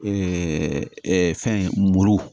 fɛn muru